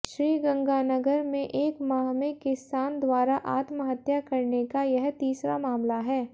श्रीगंगानगर में एक माह में किसान द्वारा आत्महत्या करने का यह तीसरा मामला है